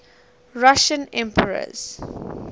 russian emperors